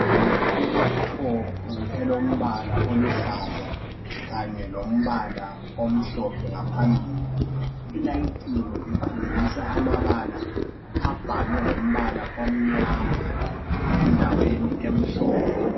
Ileputopu elombala oluhlaza lombala khanye lombala omhlophe ngaphambili. Ilayitiwe ikhombisa amabala abhalwe ngombala omnyama endaweni emhlophe.